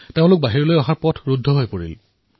তেওঁলোকৰ বাহিৰলৈ ওলোৱাৰ পথ বন্ধ হৈ পৰিল